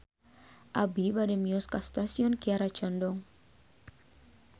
Abi bade mios ka Stasiun Kiara Condong